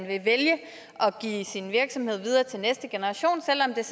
at vælge at give sin virksomhed videre til næste generation selv om det